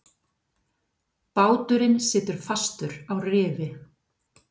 Báturinn situr fastur á rifi.